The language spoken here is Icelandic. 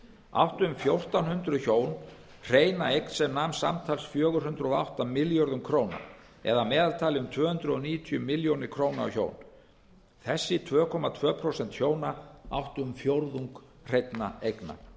áttu um fjórtán hundruð hjón hreina eign sem nam samtals fjögur hundruð og átta milljörðum króna eða að meðaltali um tvö hundruð níutíu milljónir króna á hjón þessi tvö komma tvö prósent hjóna áttu um fjórðung hreinna eigna